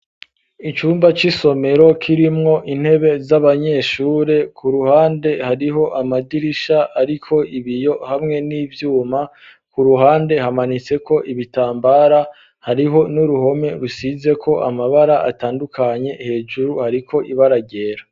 Icumba c'isomero kirimwo intebe z'abanyeshure hamwe n'imeza zabo imbere hariho ikibaho gifise ibara ry'icatsi, kandi kitanditseko ku ruhande hariho ishurwe bashize mu cumba c'isomero hejuru hamanitse amatara.